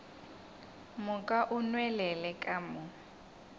moka o nwelele ka mo